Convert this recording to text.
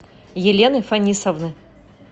елены фанисовны